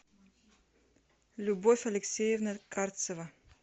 любовь алексеевна карцева